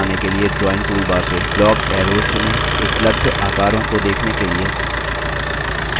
पेड़ का to बनाने के लिए drawing toolbar से block arrows चुनें